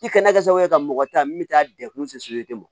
I kɛnɛ kɛ sabu kɛ ka mɔgɔ ta min bɛ taa degun